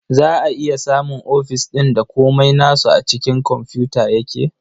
Za a iya samun ofis ɗin da komai nasu a cikin komfuta yake.